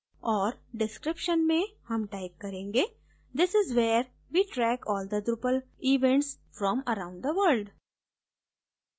और description में हम type करेंगे this is where we track all the drupal events from around the world